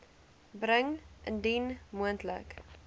bring indien moontlik